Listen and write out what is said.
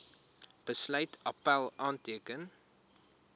besluit appèl aanteken